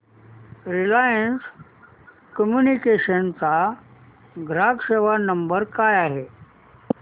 Reliance Communications चा ग्राहक सेवा नंबर काय आहे